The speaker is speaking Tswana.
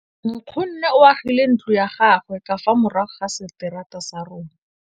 Nkgonne o agile ntlo ya gagwe ka fa morago ga seterata sa rona.